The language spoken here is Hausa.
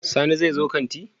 Sani zai zo kanti?